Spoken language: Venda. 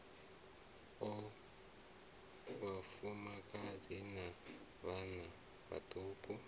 o vhafumakadzi na vhanna vhaṱuku